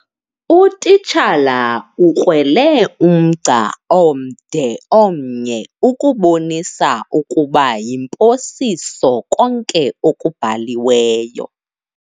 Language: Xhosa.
Utitshala ukrwele umgca omde omnye ukubonisa ukuba yimposiso konke okubhaliweyo.